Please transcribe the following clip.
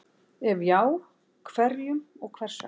Ef já, hverjum og hvers vegna?